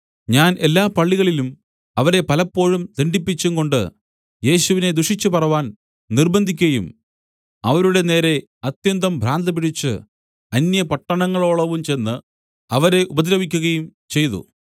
ഞാൻ എല്ലാ പള്ളികളിലും അവരെ പലപ്പോഴും ദണ്ഡിപ്പിച്ചുംകൊണ്ട് യേശുവിനെ ദുഷിച്ചുപറവാൻ നിര്‍ബ്ബന്ധിക്കയും അവരുടെ നേരെ അത്യന്തം ഭ്രാന്തുപിടിച്ച് അന്യപട്ടണങ്ങളോളവും ചെന്ന് അവരെ ഉപദ്രവിക്കുകയും ചെയ്തു